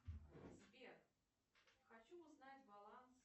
сбер хочу узнать баланс